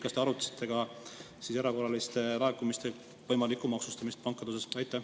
Kas te arutasite ka erakorraliste laekumiste võimalikku maksustamist pankade puhul?